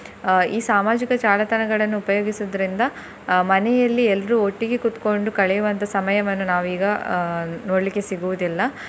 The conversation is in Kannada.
ಅಹ್ ಈ ಸಾಮಾಜಿಕ ಜಾಲತಾಣಗಳನ್ನು ಉಪಯೋಗಿಸುದ್ರಿಂದ ಅಹ್ ಮನೆಯಲ್ಲಿ ಎಲ್ರು ಒಟ್ಟಿಗೆ ಕೂತ್ಕೊಂಡು ಕಳೆಯುವಂತ ಸಮಯವನ್ನು ನಾವು ಈಗ ಅಹ್ ನೋಡ್ಲಿಕ್ಕೆ ಸಿಗುವುದಿಲ್ಲ.